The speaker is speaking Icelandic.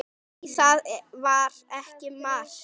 Nei, það var ekki mark.